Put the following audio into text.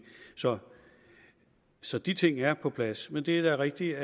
så så de ting er på plads men det er da rigtigt